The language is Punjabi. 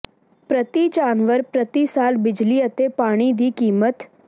ਪ੍ਰਤੀ ਜਾਨਵਰ ਪ੍ਰਤੀ ਸਾਲ ਬਿਜਲੀ ਅਤੇ ਪਾਣੀ ਦੀ ਕੀਮਤ